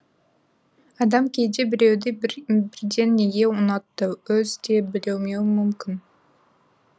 адам кейде біреуді бірден неге ұнатты өзі де білмеуі мүмкін